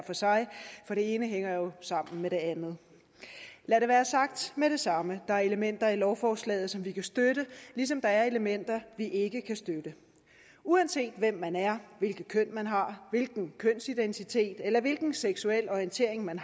for sig for det ene hænger jo sammen med det andet lad det være sagt med det samme der er elementer i lovforslaget som vi kan støtte ligesom der er elementer vi ikke kan støtte uanset hvem man er hvilket køn man har hvilken kønsidentitet eller hvilken seksuel orientering man